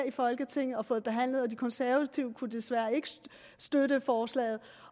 i folketinget og fået det behandlet og de konservative kunne desværre ikke støtte forslaget